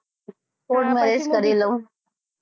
court marriage કરી લવ.